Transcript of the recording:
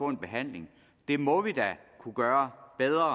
en behandling det må vi da kunne gøre bedre